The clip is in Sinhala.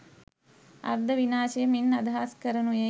අර්ධ විනාශය මින් අදහස් කරනුයේ